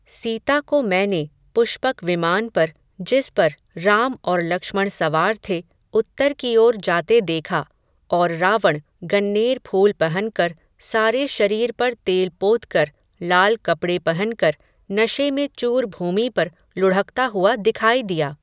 सीता को मैंने, पुष्पक विमान पर, जिस पर, राम और लक्ष्मण सवार थे, उत्तर की ओर जाते देखा, और रावण, गन्नेर फूल पहनकर, सारे शरीर पर तेल पोतकर, लाल कपड़े पहन कर, नशे में चूर भूमि पर लुढ़कता हुआ दिखाई दिया